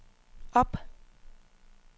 op